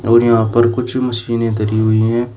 और यहां पर कुछ मशीनें धरी हुई हैं।